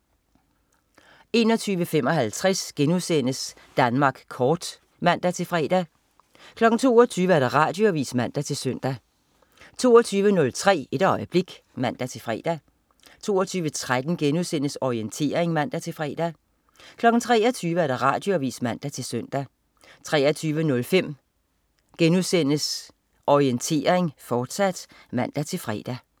21.55 Danmark kort* (man-fre) 22.00 Radioavis (man-søn) 22.03 Et øjeblik (man-fre) 22.13 Orientering* (man-fre) 23.00 Radioavis (man-søn) 23.05 Orientering, fortsat* (man-fre)